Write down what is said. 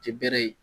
Tɛ bɛrɛ ye